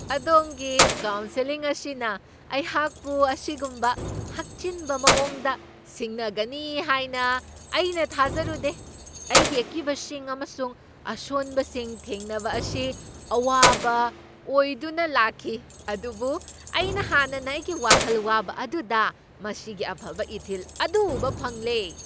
ꯑꯗꯣꯝꯒꯤ ꯀꯥꯎꯁꯦꯜꯂꯤꯡ ꯑꯁꯤꯅ ꯑꯩꯍꯥꯛꯄꯨ ꯑꯁꯤꯒꯨꯝꯕ ꯍꯛꯆꯤꯟꯕ ꯃꯑꯣꯡꯗ ꯁꯤꯡꯅꯒꯅꯤ ꯍꯥꯏꯅ ꯑꯩꯅ ꯊꯥꯖꯔꯨꯗꯦ! ꯑꯩꯒꯤ ꯑꯀꯤꯕꯁꯤꯡ ꯑꯃꯁꯨꯡ ꯑꯁꯣꯟꯕꯁꯤꯡ ꯊꯦꯡꯅꯕ ꯑꯁꯤ ꯑꯋꯥꯕ ꯑꯣꯏꯗꯨꯅ ꯂꯥꯛꯈꯤ, ꯑꯗꯨꯕꯨ ꯑꯩꯅ ꯍꯥꯟꯅꯅ ꯑꯩꯒꯤ ꯋꯥꯈꯜ ꯋꯥꯕ ꯑꯗꯨꯗ ꯃꯁꯤꯒꯤ ꯑꯐꯕ ꯏꯊꯤꯜ ꯑꯗꯨ ꯎꯕ ꯐꯪꯂꯦ꯫